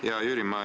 Hea Jüri!